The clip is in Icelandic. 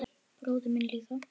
Bróðir minn líka.